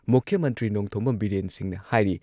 ꯃꯨꯈ꯭ꯌ ꯃꯟꯇ꯭ꯔꯤ ꯅꯣꯡꯊꯣꯝꯕꯝ ꯕꯤꯔꯦꯟ ꯁꯤꯡꯍꯅ ꯍꯥꯏꯔꯤ